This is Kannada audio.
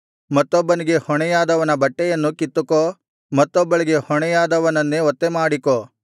ಮತ್ತೊಬ್ಬನಿಗೆ ಹೊಣೆಯಾದವನ ಬಟ್ಟೆಯನ್ನು ಕಿತ್ತುಕೋ ಮತ್ತೊಬ್ಬಳಿಗೆ ಹೊಣೆಯಾದವನನ್ನೇ ಒತ್ತೆಮಾಡಿಕೋ